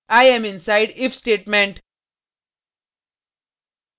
i am inside if statement